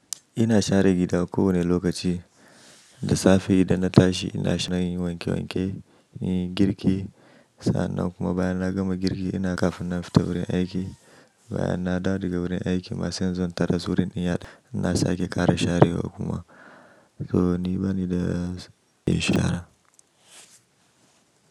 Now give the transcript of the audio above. Ina share gida ko wane lokaci, da safe idan na tashi ina sharan yin wanke wanke, yin girki. Sa'a nanakuma bayan na gama girki ina kafin na fita wurin aiki. Bayan na dawo daga wurin aiki masu yanzu tara zuwa wurin inyar ina sake ƙara share wa kuma. To ni bani da me shara.